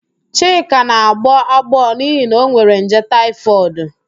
Chika na-agbọ agbọọ n'ihi na onwere nje taịfọdụ